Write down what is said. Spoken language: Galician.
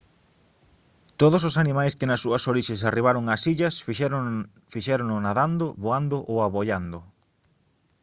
todos os animais que nas súas orixes arribaron ás illas fixérono nadando voando ou aboiando